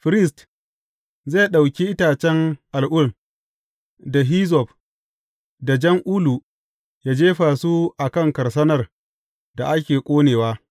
Firist zai ɗauki itacen al’ul, da hizzob, da jan ulu, yă jefa su a kan karsanar da ake ƙonewa.